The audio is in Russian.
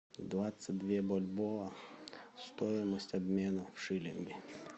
двадцать две бальбоа стоимость обмена в шиллинги